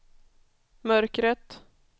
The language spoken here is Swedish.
mörkret